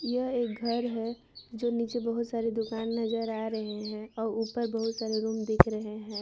यह एक घर है जो नीचे बहोत सारी दुकान नजर आ रहे हैं और ऊपर बहोत सारे रूम दिख रहे हैं।